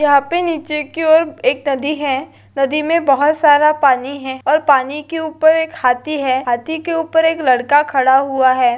यहाँ पे नीचे की ओर एक नदी है नदी में बहुत सारा पानी है और पानी के उपर एक हाथी है हाथी के उपर एक लड़का खड़ा हुआ है।